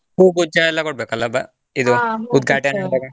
ಹೂಗುಚ್ಚ ಎಲ್ಲ ಕೊಡ್ಬೇಕಲ್ಲ ಉದ್ಘಾಟನೆ ಆದಾಗ.